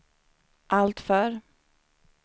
alltför